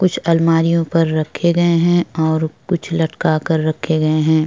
कुछ अलमारिओ पर रखे गए हैं और कुछ लटका कर रखे गए हैं।